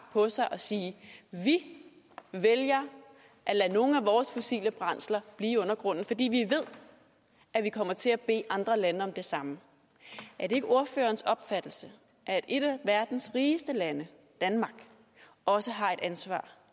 på sig og sige vi vælger at lade nogle af vores fossile brændsler blive i undergrunden fordi vi ved at vi kommer til at bede andre lande om det samme er det ikke ordførerens opfattelse at et af verdens rigeste lande danmark også har et ansvar